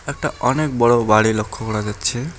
একটা অনেক বড় বাড়ি লক্ষ্য করা যাচ্ছে।